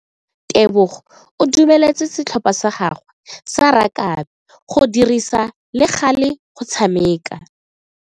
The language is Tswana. Tebogo o dumeletse setlhopha sa gagwe sa rakabi go dirisa le gale go tshameka.